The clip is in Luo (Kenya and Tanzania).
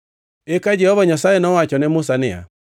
Eka Jehova Nyasaye nowacho ne Musa niya,